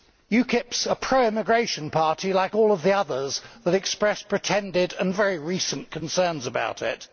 UKIP is a pro immigration party like all of the others that have expressed pretended and very recent concerns about it.